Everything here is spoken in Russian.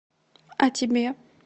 а тебе